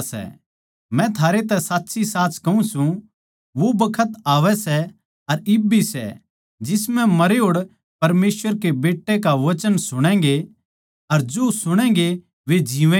मै थारैतै साच्चीसाच कहूँ सूं वो बखत आवै सै अर इब सै जिसम्ह मरेहोड़ परमेसवर के बेट्टै का वचन सुणैगें अर जो सुणैगें वे जिवैंगे